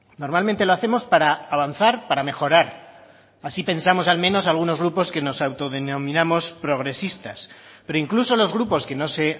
normalmente lo hacemos para avanzar para mejorar así pensamos al menos algunos grupos que nos autodenominamos progresistas pero incluso los grupos que no se